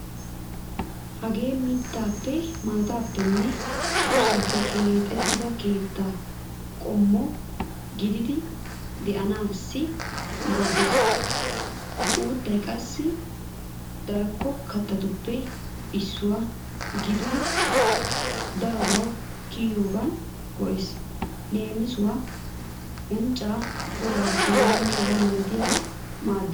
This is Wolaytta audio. Hage mittaappe maataappenne sussaappe keexettiya keetta qommo gididi de'anasssi maaddeees. Uuttay qassi darko kattatuppe issuwa gididi daroba kiyiyoogan go'ees. Leemisuwaassi unccaa, golaa h.h.m maaddeees.